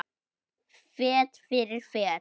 Fet fyrir fet.